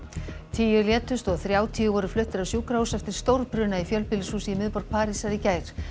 tíu létust og þrjátíu voru fluttir á sjúkrahús eftir stórbruna í fjölbýlishúsi í miðborg Parísar í gær